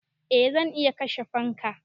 Eh zan iya kashe fanka.